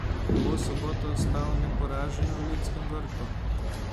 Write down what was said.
Bo v soboto ostal neporažen v Ljudskem vrtu?